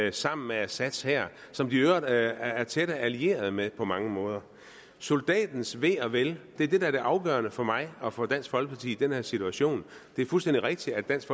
ind sammen med assads hær som de i øvrigt er tætte allierede med på mange måder soldatens ve og vel er det der er det afgørende for mig og for dansk folkeparti i den her situation det er fuldstændig rigtigt at dansk